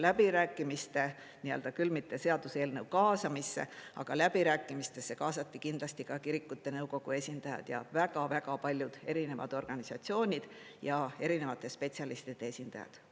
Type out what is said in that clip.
Läbirääkimistesse, küll mitte seaduseelnõu kaasamisse, aga läbirääkimistesse kaasati kindlasti ka kirikute nõukogu esindajad ja väga paljud erinevad organisatsioonid ja erinevate spetsialistide esindajad.